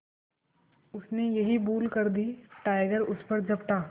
उसने यही भूल कर दी टाइगर उस पर झपटा